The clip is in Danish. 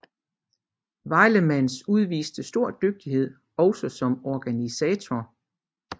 Wielemans udviste stor dygtighed også som organisator